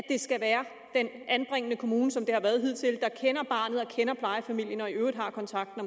skal være den anbringende kommune som det har været hidtil der kender barnet og kender plejefamilien og i øvrigt har kontakten